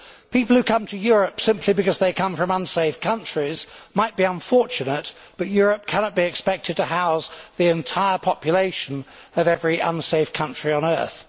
People who come to Europe simply because they come from unsafe countries might be unfortunate, but Europe cannot be expected to house the entire population of every unsafe country on earth.